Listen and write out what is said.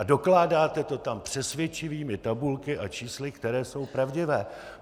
A dokládáte to tam přesvědčivými tabulkami a čísly, která jsou pravdivá.